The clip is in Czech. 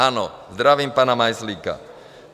Ano, zdravím pana Majzlíka.